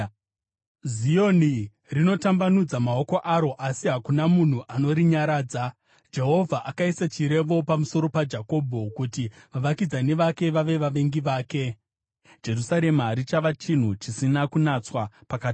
Zioni rinotambanudza maoko aro, asi hakuna munhu anorinyaradza. Jehovha akaisa chirevo pamusoro paJakobho, kuti vavakidzani vake vave vavengi vake; Jerusarema rava chinhu chisina kunatswa pakati pavo.